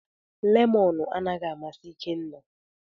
Lemọn anaghị amasị Ikenna.